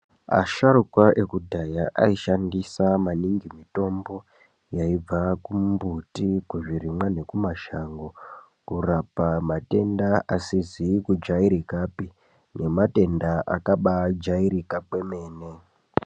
Asharukwa ekudhaya ayi shandisa maningi mitombo yaibva ku mbuti ku zvirimwa neku mashango kurapa matenda asizi kujairikapi ne matenda akabai jairika kwemene.